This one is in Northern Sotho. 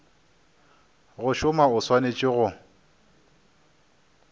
go šoma o swanetše go